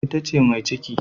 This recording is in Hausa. Ita ce mai ciki.